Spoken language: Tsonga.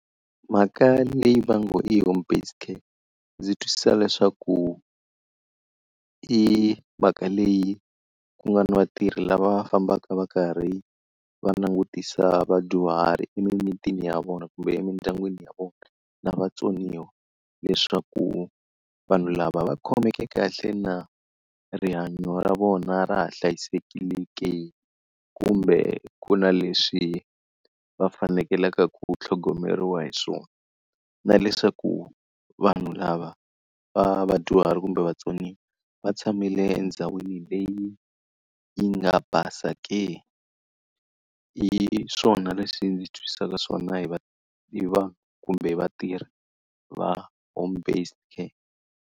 Mhaka leyi va ngo i home based care, ndzi twisisa leswaku i mhaka leyi ku nga na vatirhi lava va fambaka va karhi va langutisa vadyuhari emimitini ya vona kumbe emindyangwini ya vona na vatsoniwa. Leswaku vanhu lava va khomeke kahle na? Rihanyo ra vona ra ha hlayisekile ke kumbe ku na leswi va fanekelaka ku tlhogomeriwa hi swona? Na leswaku vanhu lava va vadyuhari kumbe vatsoniwa va tshamile endhawini leyi yi nga basa ke? Hi swona leswi ndzi swi twisisaka swona hi hi vanhu kumbe hi vatirhi va home based care.